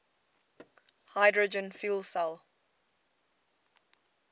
hydrogen fuel cell